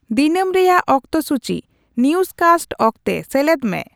ᱫᱤᱱᱟᱹᱢ ᱨᱮᱭᱟᱜ ᱚᱠᱛᱮᱥᱩᱪᱤ ᱱᱤᱭᱩᱡᱠᱟᱥᱴ ᱚᱠᱛᱮ ᱥᱮᱞᱮᱫ ᱢᱮ